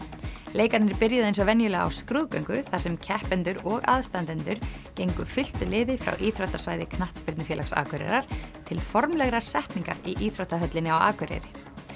leikarnir byrjuðu eins og venjulega á skrúðgöngu þar sem keppendur og aðstandendur gengu fylktu liði frá íþróttasvæði knattspyrnufélags Akureyrar til formlegrar setningar í íþróttahöllinni á Akureyri